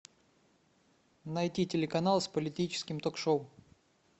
найти телеканал с политическим ток шоу